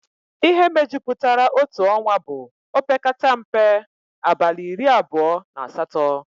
Ihe mejupụtara otu ọnwa bụ opekata mpe abalị iri abụọ na asatọ